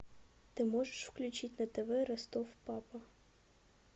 ты можешь включить на тв ростов папа